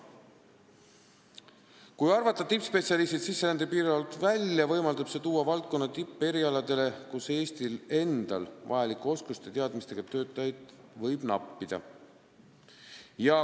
Kui arvata tippspetsialistid sisserände piirarvu alt välja, võimaldab see tuua valdkonna tippe erialadele, kus Eestil endal vajalike oskuste ja teadmistega töötajaid võib nappida.